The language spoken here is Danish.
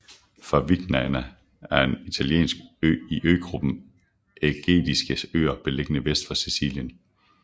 Favignana er en italiensk ø i øgruppen Ægadiske Øer beliggende vest for Sicilien